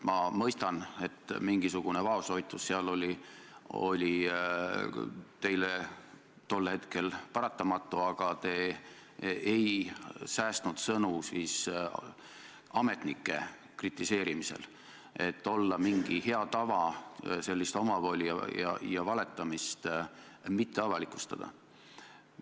Ma mõistan, et mingisugune vaoshoitus oli teie puhul tol hetkel paratamatu, aga te ei säästnud sõnu ametnike kritiseerimisel – olla mingi hea tava sellist omavoli ja valetamist mitte avalikustada.